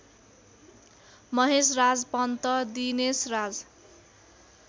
Maheshraj Pant Dineshraj